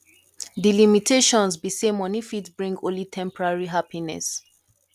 di limitations be say money fit bring only temporary happiness